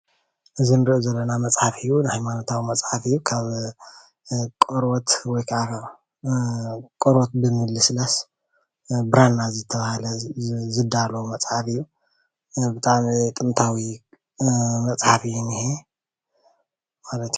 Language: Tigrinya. እዚ ዘንብቦ ዘሎ መፃሓፍ ናይ ሃይማኖት መፃሓፍ እዩ፡፡ ካብ ቆርበት ወይካዓ ቆረበት ብ ምልስላስ ናብ ብራና ዝተባሃለ ዝዳለዎ መፃሓፍ እዩ፡፡ ብጣዕሚ ጥንታዊ መፃሓፍ እዩ ዝኒሄ ማለት እዩ፡፡